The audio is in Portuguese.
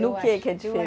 No que que é diferente?